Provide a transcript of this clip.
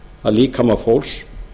að líkama fólks